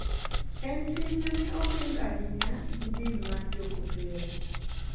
En tim ma ne oping ahinya gi din mar jokopere.